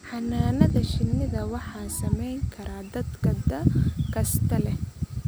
Xannaanada shinnida waxaa samayn kara dadka da' kasta leh.